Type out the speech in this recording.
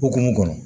Hokumu kɔnɔ